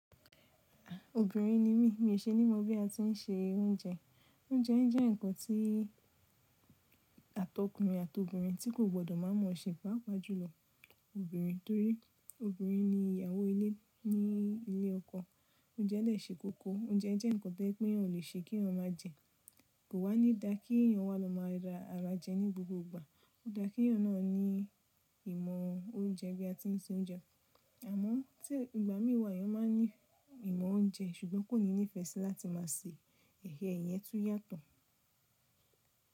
À, obìnrin ni mí, mi ò ṣe ní mọ bí a ti ń se oúnjẹ. Oúnjẹ jẹ́ ǹkan tí àtọkùnrin àti obìnrin tí kò gbọdọ̀ má mọ̀ ṣe bá pàjùlọ obìnrin torí obìnrin ni ìyàwó ilé ní ilé ọkọ. Oúnjẹ de se koko, oúnjẹ jẹ́ ǹkan tẹ́ pé eeyan o lè ṣe kí eeyan má jẹ. Kò wá ní da kí èèyàn wa lọ máa ra ara jẹ ní gbogbo ìgbà. Ó dáa kí èèyàn náà ní ìmọ̀ oúnjẹ bí a ti ń se oúnjẹ. Àmọ́ tí ìgbà mí wà èèyàn máa ní ìmọ̀ oúnjẹ ṣùgbọ́n kò níní ìfẹ́ sí láti má se, ehen iyẹn tún yàtọ̀.